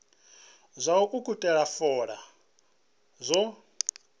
zwa u ukhuthela fola zwo